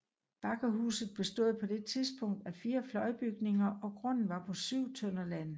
Bakkehuset bestod på dette tidspunkt af fire fløjbygninger og grunden var på 7 tønder land